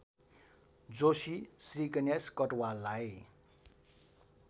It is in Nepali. जोशी श्रीगणेश कटुवाललाई